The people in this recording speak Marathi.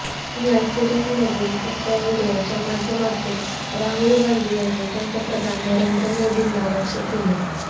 या सीरीजमधील तिसऱ्या व्हिडीओच्या माध्यमातून राहुल गांधी यांनी पंतप्रधान नरेंद्र मोदींना लक्ष्य केले